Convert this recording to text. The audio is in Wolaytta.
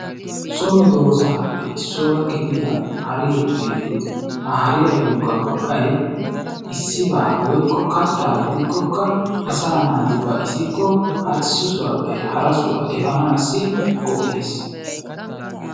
So medoosatuppe gidida haree beettes. Ha hariyayyokka go"ay issibaa woyikko kattaa gidikkokka asaa naati ba'isikko ha issi sohaappe hara sohaa efanaassi go"ees.